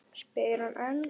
spyr hann enn.